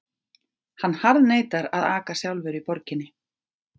Hann harðneitar að aka sjálfur í borginni.